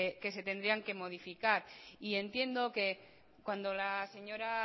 que se tendrían que modificar y entiendo que cuando la señora